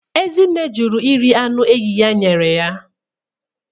Ezinne jụrụ iri anụ enyi ya nyere ya.